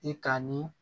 I kan ni